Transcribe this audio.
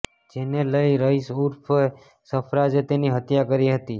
જેને લઇ રઇસ ઉર્ફ સરફરાઝે તેની હત્યા કરી હતી